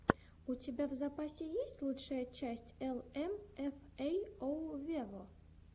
у тебя в запасе есть лучшая часть эл эм эф эй оу вево